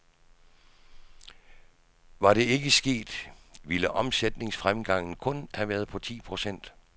Var det ikke sket ville omsætningsfremgangen kun have været på ti procent.